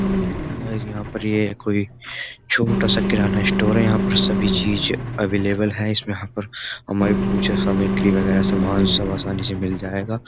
देखिए यहां पर यह कोई छोटा सा किराना स्टोर है यहां पर सभी चीज अवेलेबल है इसमें यहां पर हमारी पूजा सामक्री वगैरह सामान सब आसानी से मिल जाएगा।